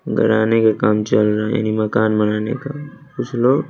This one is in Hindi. गड़ाने के काम चल रहा है यानी मकान बनाने का कुछ लोग--